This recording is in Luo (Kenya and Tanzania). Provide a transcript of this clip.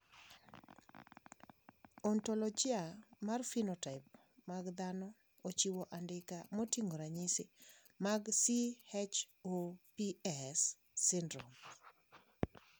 Ontologia mar phenotype mag dhano ochiwo andika moting`o ranyisi mag CHOPS syndrome.